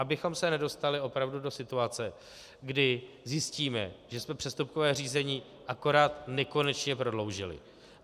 Abychom se nedostali opravdu do situace, kdy zjistíme, že jsme přestupkové řízení akorát nekonečně prodloužili.